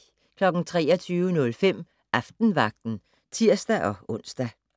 23:05: Aftenvagten (tir-ons)